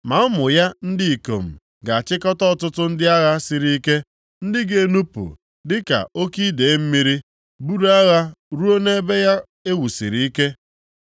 Ma ụmụ ya ndị ikom ga-achịkọta ọtụtụ ndị agha siri ike, ndị ga-enupu dịka oke idee mmiri, buru agha ruo nʼebe ya e wusiri ike.